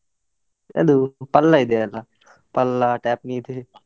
ಅದು Palla ಇದೆ ಅಲ್ಲ, Palla TAPMI ಇದೆ.